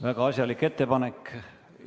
Väga asjalik ettepanek!